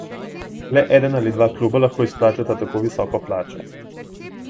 Le eden ali dva kluba lahko izplačata tako visoko plačo.